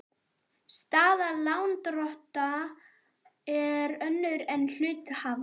Staða lánardrottna er önnur en hluthafa.